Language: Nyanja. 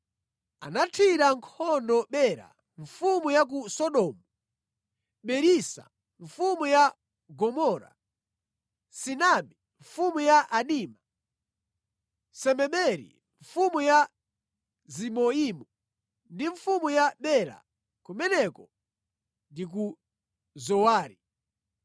anathira nkhondo Bera mfumu ya ku Sodomu, Birisa mfumu ya Gomora, Sinabi mfumu ya Adima, Semeberi mfumu ya Ziboimu ndi mfumu ya Bela (kumeneko ndi ku Zowari).